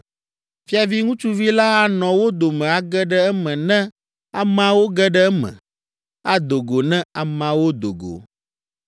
Fiavi ŋutsuvi la anɔ wo dome age ɖe eme ne ameawo ge ɖe eme, ado go ne ameawo do go.